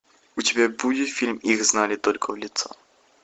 у тебя будет фильм их знали только в лицо